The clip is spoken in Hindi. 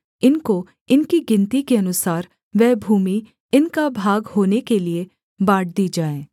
इनको इनकी गिनती के अनुसार वह भूमि इनका भाग होने के लिये बाँट दी जाए